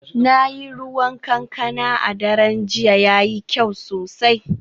Na yi ruwan kankana a daren jiya, yayi kyau sosai